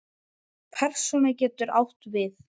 Persóna getur átt við